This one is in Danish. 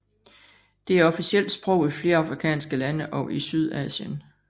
Det er officielt sprog i flere afrikanske lande og i Sydasien